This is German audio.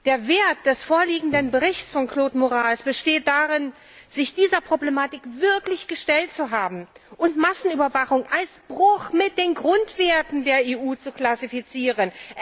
Der Wert des vorliegenden Berichts von Claude Moraes besteht darin, sich dieser Problematik wirklich gestellt zu haben und Massenüberwachung als Bruch mit den Grundwerten der EU zu klassifizieren.